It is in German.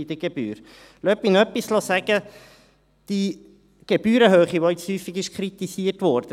Lassen Sie mich noch etwas sagen: Die Gebührenhöhe, die jetzt häufig kritisiert wurde …